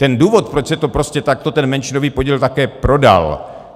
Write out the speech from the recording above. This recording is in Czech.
Ten důvod, proč se to prostě takto ten menšinový podíl také prodal.